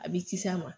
A bɛ kisi a ma